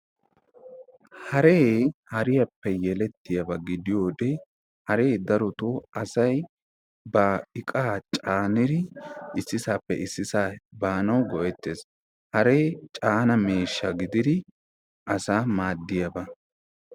Haree hariyaappe yelettiyaaba gidiyaba Haree darotoo ba iqqaa issisaappe issisaa banawu go'ettees. haree caana miishsha gididi asaa maadiyaba.